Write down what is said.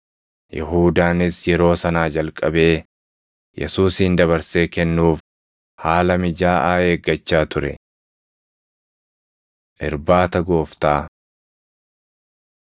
Yihuudaanis yeroo sanaa jalqabee Yesuusin dabarsee kennuuf haala mijaaʼaa eeggachaa ture. Irbaata Gooftaa 26:17‑19 kwf – Mar 14:12‑16; Luq 22:7‑13 26:20‑24 kwf – Mar 14:17‑21 26:26‑29 kwf – Mar 14:22‑25; Luq 22:17‑20; 1Qr 11:23‑25